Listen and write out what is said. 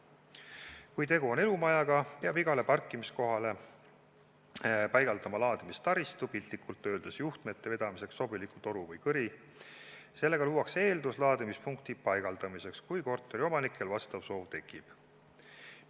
Kui tegu on elumajaga, peab igale parkimiskohale paigaldama laadimistaristu, piltlikult öeldes juhtmete vedamiseks sobiliku toru või kõri, sellega luuakse eeldus laadimispunkti paigaldamiseks, kui korteriomanikel see soov tekib.